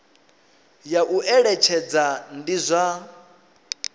ya u eletshedza ndi zwa